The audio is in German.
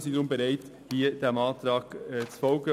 Deshalb sind wir bereit, den Antrag anzunehmen.